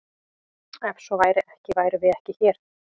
Ef svo væri ekki værum við ekki hér!